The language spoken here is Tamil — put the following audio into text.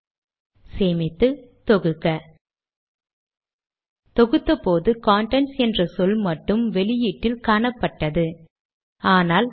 வெற்று முகவரியை கொடுக்கும் போது நடப்பதை காண்போம்